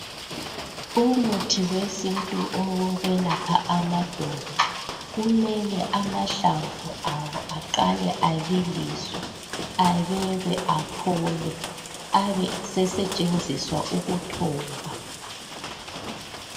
umuthi wesintu owokuyelapha amadolo kumele amahlamvu awo aqhale abiliswe abekwe aphole abe sesetshenziswa ukuthoba